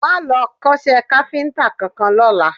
Máa lọ kọ́ṣẹ́ káfíńtà kankan lọ́la